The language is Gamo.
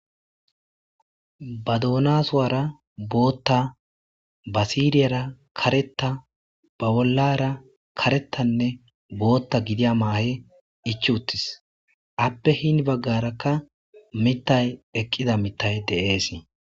Ba doona suwara bootta basiriyara karetta ba bollara karetanne bootta gidiya maahe ich uttis appe hin baggarakka mittay eqqida mitay de'eesi